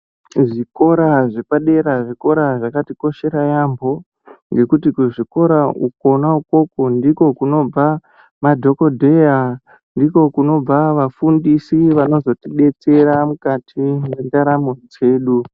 Kuzvikora zvepadera zvikora zvakatikoshera yambho ngekuti kuzvikora kwona ikoko ndikwo kunobva madhokodeya ndikwo kunobva vafundisi vanozotidetsera mukati mwendaramo dzedu.